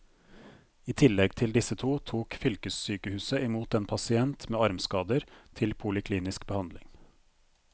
I tillegg til disse to tok fylkessykehuset i mot en pasient med armskader til poliklinisk behandling.